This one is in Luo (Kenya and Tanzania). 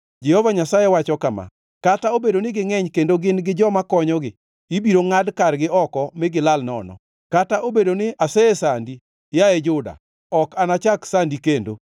Jehova Nyasaye wacho kama: “Kata obedo ni gingʼeny kendo gin gi joma konyogi, ibiro ngʼad kargi oko mi gilal nono. Kata obedo ni asesandi, yaye Juda, ok anachak sandi kendo.